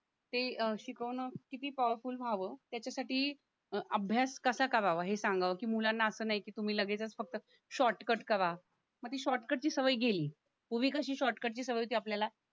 ते शिकवणं किती पॉवरफुल व्हावं त्याच्यासाठी अभ्यास कसा करावं हे सांगावं की मुलांना असं नाही की तुम्ही लगेचच फक्त शॉर्टकट करा म ती शॉर्टकट ची सवय गेली पूर्वी कशी शॉर्टकटची सवय ती आपल्याला